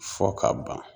Fɔ ka ban